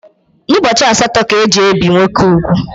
N’ụbọchị asaatọ ka e ji ebe nwoke ụgwụ